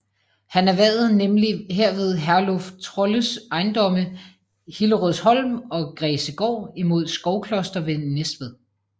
Han erhvervede nemlig herved Herluf Trolles ejendomme Hillerødsholm og Græsegård imod Skovkloster ved Næstved